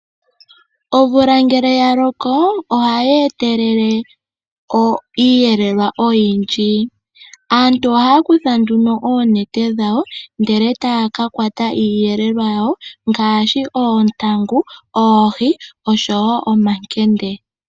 Omvula ngele ya loko ohayi etelele iiyelelwa oyindji. Aantu ohaya kutha nduno oonete dhawo ndele etaya ka kwata iiyelelwa yawo ngaashi oohi, oontangu nomakende.